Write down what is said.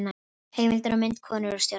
Heimildir og mynd: Konur og stjórnmál.